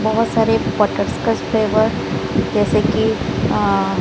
बहुत सारे butter scotch flavour जैसे कि अह--